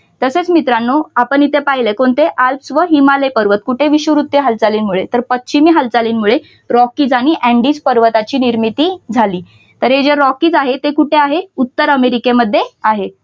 तसेच मित्रांनो आपण येथे पाहीले कोणते आल्प्स व हिमालय पर्वत कुठे विषुववृत्तीय हालचालींमुळे तर पश्चिमी हालचालीमुळे रॉकीज आणि अँडीज पर्वताची निर्मिती झाली. तर हे रॉकीज आहे ते कुठे आहे उत्तर अमेरिकेमध्ये आहे.